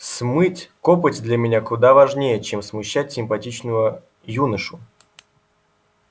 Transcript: смыть копоть для меня куда важнее чем смущать симпатичного юношу